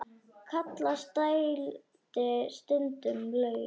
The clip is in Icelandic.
Kallast dældin stundum laut.